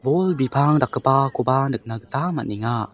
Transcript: bol bipang dakgipakoba nikna gita man·enga.